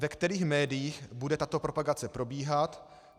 Ve kterých médiích bude tato propagace probíhat?